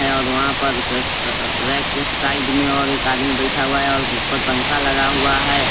है और वहाँ पर क अअअ रैक के साइड में और एक आदमी बैठा हुआ है और ऊपर पंखा लगा हुआ है।